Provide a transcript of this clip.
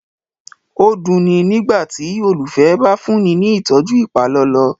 o duni nígbàtí olufẹ bá fúnni ní ìtọjú ipalọlọ